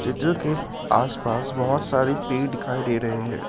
Picture के आसपास बहुत सारे पेड़ दिखाई दे रहे हैं।